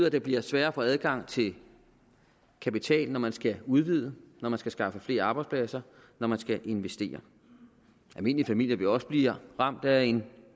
at det bliver sværere at få adgang til kapital når man skal udvide når man skal skaffe flere arbejdspladser når man skal investere almindelige familier vil også blive ramt af en